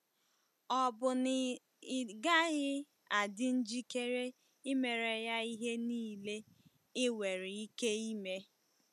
Ọ̀ bụ na ị gaghị adị njikere imere ya ihe niile i nwere ike ime?